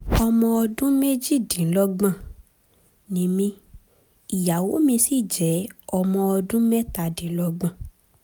ọmọ ọdún méjìdínlọ́gbọ̀n ni mí ìyàwó mi sì jẹ́ ọmọ ọdún mẹ́tàdínlọ́gbọ̀n